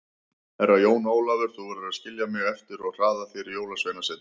Herra Jón Ólafur, þú verður að skilja mig eftir og hraða þér á Jólasveinasetrið.